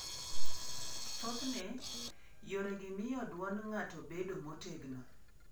Thothne, yoregi miyo dwond ng'ato bedo motegno.